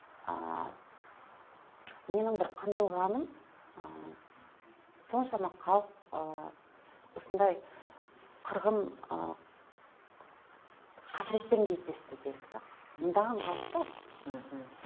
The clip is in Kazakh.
ааа менің бір қынжылғаным ы соншама халық ы осындай қырғын ы қасіретпен кездесті делік те мыңдаған халық қой мхм